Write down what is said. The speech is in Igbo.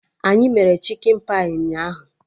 Anyị mere chikin pai ụnyaahụ